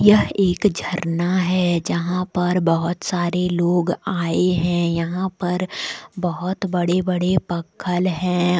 यह एक झरना है जहां पर बहुत सारे लोग आये हैं यहां पर बहोत बड़े बड़े पत्थल है।